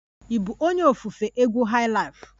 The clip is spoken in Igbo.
Ị bụ onye ofufe egwu highlife?